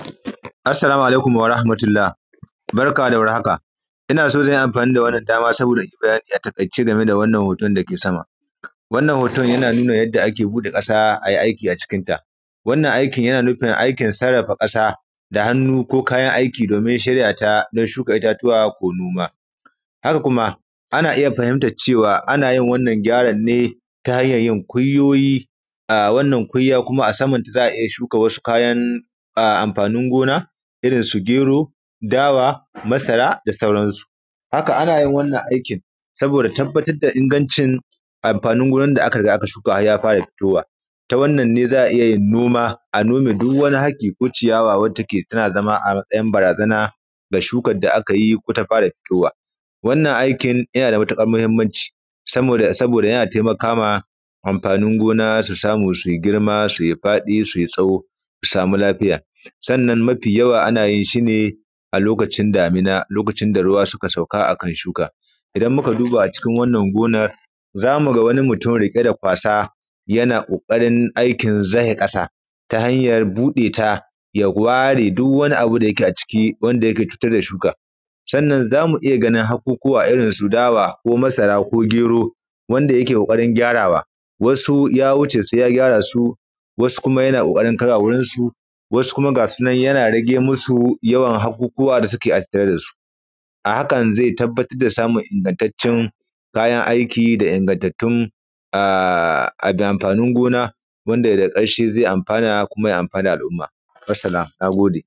Assalamu alaikum wa rahmatullah, barka da war haka, ina so zan yi anfani da wannan dama saboda in yi bayani a taƙaice game da wannan hoton da ke sama. Wannan hoton, yana nuna yadda ake buɗe ƙasa a yi aiki a cikin ta. Wannan aikin yana nufin aikin sarrafa ƙasa da hannu ko kayan aiki domin shirya ta dan shuka itatuwa ko noma. Haka Kuma, ana iya fahimtac cewa anayin gyaran ne ta hanyay yin ƙunyoyi a wannan kunya kuma a saman ta za a iya shuka kayan anfanin gona irin su gero, dawa, masara da sauransu. Haka, ana yin wannan aikin saboda tabbatad da ingancin anfanin gonan da aka riga aka shuka har ya fara fitowa. Ta wannan ne za a iya yin noma, a nome duk wani haki ko ciyawa wacce take tana zama barazana ga shukad da aka yi ko ta fara fitowa. Wannan aikin, yana da matuƙar mahimanci saboda, saboda yana temaka ma anfanin gona su samu su yi girma su yi faɗi su yi tsaho su samu lafiya. Sannan mafi yawa ana yin shi ne a lokacin damuna, lokacin da ruwa suka sauka a kan shuka. Idan muka duba a cikin wannan gonar, za mu ga wani mutum riƙe da kwasa yana ƙoƙarin aikin zahe ƙasa ta hanyar buɗe ta, ya ware duk wani abu da yake a ciki wanda yake cutar da shuka, sannan za mu iya ganin haƙuƙuwa irin su dawa, masara ko gero wanda yake ƙoƙarin gyarawa wasu ya wuce su ya gyara su wasu kuma yana ƙoƙarin kaiwa wurin su wasu kuma gasu nan yana rage musu yawan haƙuƙuwa da suke a tattare da su. A hakan, ze tabbatar da samun ingantaccen kayan aiki da ingantattun a; a da anfanin gona wanda daga ƙarshe ze anfana kuma ya anfanar da al'uma, wassalam, na gode.